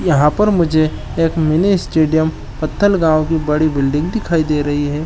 यहाँ पर मुझे एक मिनी स्टेडियम पटल गाँव की बड़ी बिल्डिंग दिखाई दे रही है।